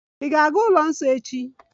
Ị̀ ga-aga n'ụlọ nsọ echi?